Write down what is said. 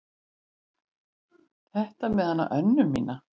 Þetta með hana Önnu mína.